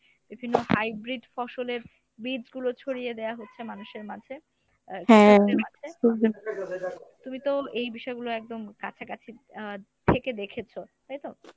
বিভিন্ন hybrid ফসলের বীজগুলো ছড়িয়ে দেয়া হচ্ছে মানুষের মাঝে। আহ তুমি তো এই বিষয়গুলো একদম কাছাকাছি আহ থেকে দেখেছো তাইতো?